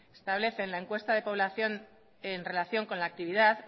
establecen la encuesta de población en relación con la actividad